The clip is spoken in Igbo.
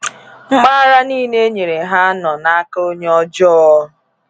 Mpaghara niile e nyere ha nọ “n’aka onye ọjọọ,”